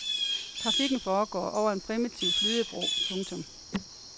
Trafikken foregår over en primitiv flydebro. punktum